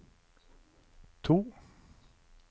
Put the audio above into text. to